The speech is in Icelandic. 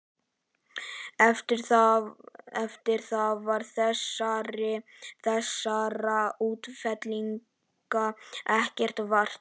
Eftir það varð þessara útfellinga ekki vart.